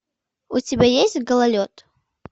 у тебя есть гололед